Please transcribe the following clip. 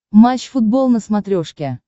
матч футбол на смотрешке